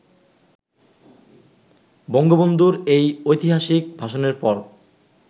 বঙ্গবন্ধুর এই ঐতিহাসিক ভাষণের পর